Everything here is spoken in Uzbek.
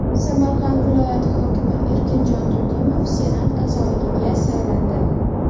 Samarqand viloyati hokimi Erkinjon Turdimov Senat a’zoligiga saylandi.